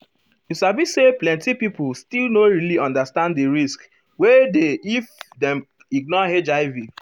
you sabi say plenti people still no really understand di risk wey dey if dem ignore hiv.